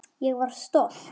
Ég var stolt.